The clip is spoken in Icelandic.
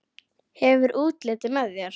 Hefur útlitið með þér.